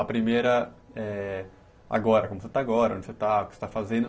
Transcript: A primeira é agora, como você está agora, onde você está, o que você está fazendo.